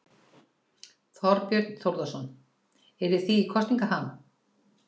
Þorbjörn Þórðarson: Eruð þið í kosningaham?